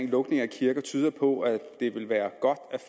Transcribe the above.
lukning af kirker tyder på at det vil være godt